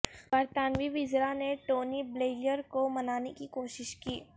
برطانوی وزرا نے ٹونی بلیئر کو منانے کی کوشش کی